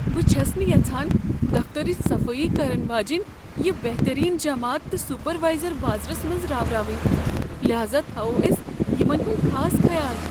بہٕ چھس نہٕ یژھان دفترٕچ صفٲیی کرن واجیٚنۍ یہ بہتٔریٖن جماعت تہٕ سپروایزر بازرس منٛز راوراوٕنۍ۔ لہاذا تھاوو أسۍ یمن ہنٛد خاص خیال۔